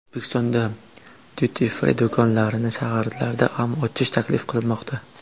O‘zbekistonda duty-free do‘konlarini shaharlarda ham ochish taklif qilinmoqda.